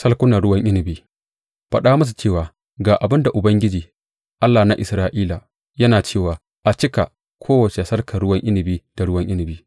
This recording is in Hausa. Salkunan ruwan inabi Faɗa musu cewa, Ga abin da Ubangiji, Allah na Isra’ila, yana cewa a cika kowace salkar ruwan inabi da ruwan inabi.’